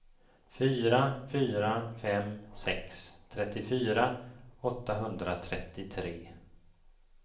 fyra fyra fem sex trettiofyra åttahundratrettiotre